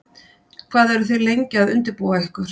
Hvað eru þið lengi að undirbúa ykkur?